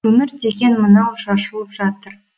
өмір деген мынау шашылып жатыр